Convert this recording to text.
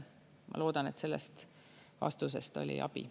Ma loodan, et sellest vastusest oli abi.